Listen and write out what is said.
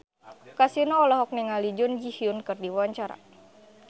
Kasino olohok ningali Jun Ji Hyun keur diwawancara